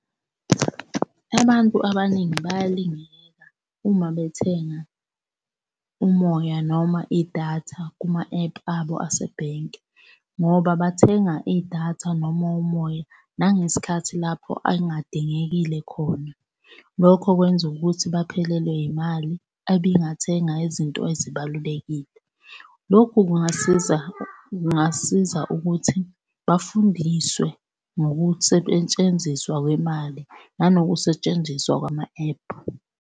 Abantu abaningi bayalingeka uma bethenga umoya noma idatha kuma-ephu abo asebhenki, ngoba bathenga idatha noma umoya nangesikhathi lapho elingadingekile khona. Lokho kwenza ukuthi baphelelwe yimali ebingathenga izinto ezibalulekile. Lokhu kungasiza kungasiza ukuthi bafundiswe ngokusetshenziswa kwemali nangokusetshenziswa kwama-ephu.